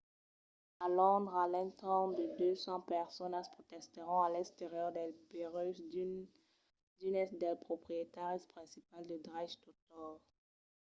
a londres a l’entorn de 200 personas protestèron a l’exterior dels burèus d'unes dels proprietaris principals de dreches d'autors